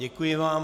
Děkuji vám.